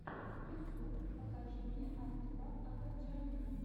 ютюб покажи мне артура агаджаняна